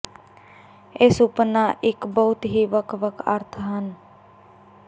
ਇਹ ਸੁਪਨਾ ਇੱਕ ਬਹੁਤ ਹੀ ਵੱਖ ਵੱਖ ਅਰਥ ਹਨ